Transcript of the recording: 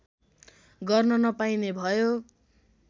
गर्न नपाईने भयो